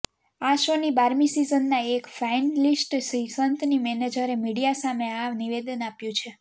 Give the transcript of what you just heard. આ શોની બારમી સીઝનના એક ફાઇનલિસ્ટ શ્રીસંતની મેનેજરે મીડિયા સામે આ નિવેદન આપ્યું છે